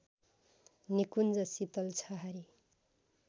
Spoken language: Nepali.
निकुञ्ज शितल छहारी